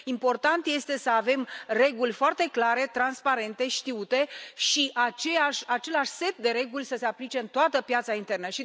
Important este să avem reguli foarte clare, transparente, știute și același set de reguli să se aplice în toată piața internă.